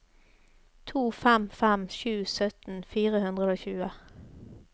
to fem fem sju sytten fire hundre og tjue